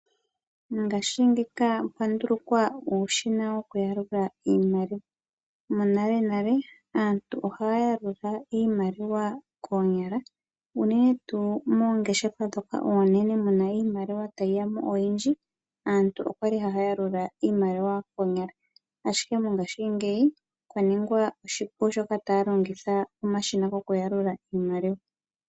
Ngaashingeyi pwa ndulukwa uushina wokuyalula iimaliwa. Monalenale aantu ohaya yalula iimaliwa koonyala unene tuu moongeshefa ndhoka oonene mu na iimaliwa tayi ya mo oyindji, aantu oya li haya yalula iimaliwa koonyala, ashike mongashingeyi sha ningwa oshipu sho aantu taya longitha omashina gokuyalula iimaliwa.